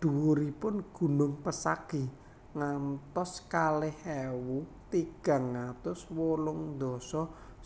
Dhuwuripun gunung Pesagi ngantos kalih ewu tigang atus wolung dasa